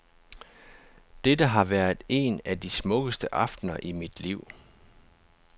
Dette har været en af de smukkeste aftener i mit liv.